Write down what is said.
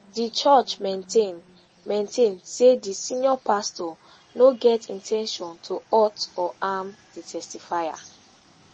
di church maintain maintain say di senior pastor no get in ten tion to hurt or harm di testifier